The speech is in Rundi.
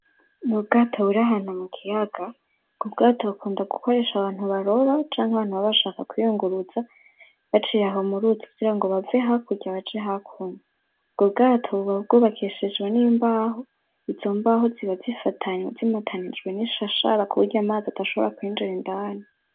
N'ubwato bur'ahantu mukiyaga, ubwo bwato bukunda gukoresha abantu baroba canke abantu bashaka kwiyunguruza baciye ahantu muruzi kugira bave kakurya baje hakuno, ubwo bwato buba bwubakishijwe n'imbaho, izo mbaho ziba zifatanye zimatanijwe n'ishashaba kuburyo amazi adashobora kwinjira indani.